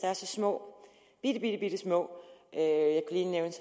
er så små bittebittesmå